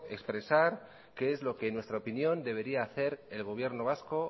expresar qué es lo que en nuestra opinión debería hacer el gobierno vasco